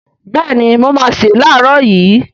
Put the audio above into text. Béèni mo máá se lààrọ̀ yii